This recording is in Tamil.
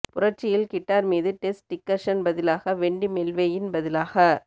புரட்சியில் கிட்டார் மீது டெஸ் டிக்கர்சன் பதிலாக வெண்டி மெல்வேயின் பதிலாக